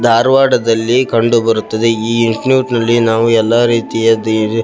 ಧಾರವಾಡದಲ್ಲಿ ಕಂಡು ಬರುತ್ತದೆ ಈ ನಾವು ಎಲ್ಲ ರೀತಿಯ --